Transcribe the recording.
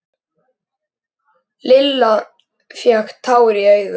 Undir því malaði tölvan.